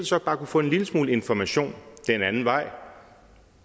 så bare kunne få en lille smule information den anden vej